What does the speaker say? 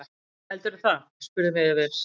Heldurðu það, spurðum við efins.